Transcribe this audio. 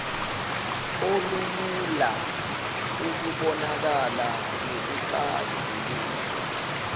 olulula ukubonakala nokuxazululwa